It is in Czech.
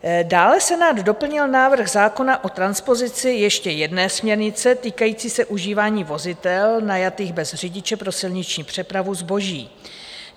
Dále Senát doplnil návrh zákona o transpozici ještě jedné směrnice, týkající se užívání vozidel najatých bez řidiče pro silniční přepravu zboží.